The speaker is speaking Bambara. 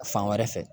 Fan wɛrɛ fɛ